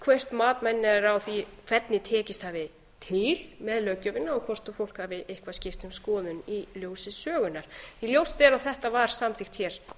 hvert mat manna er á því hvernig tekist hafi til með löggjöfinni og hvort fólk hafi eitthvað skipt um skoðun í ljósi sögunnar ljóst er að þetta var samþykkt hér